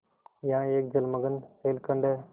यहाँ एक जलमग्न शैलखंड है